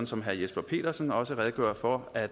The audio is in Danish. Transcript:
som herre jesper petersen også redegjorde for at